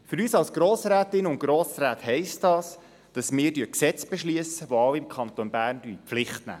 Für uns als Grossrätinnen und Grossräte heisst das, dass wir Gesetze beschliessen, die alle im Kanton Bern in die Pflicht nehmen.